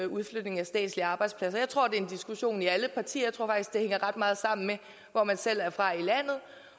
udflytning af statslige arbejdspladser jeg tror det er en diskussion i alle partier og faktisk det hænger ret meget sammen med hvor man selv er fra i landet